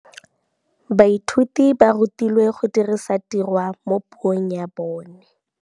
Baithuti ba rutilwe go dirisa tirwa mo puong ya bone.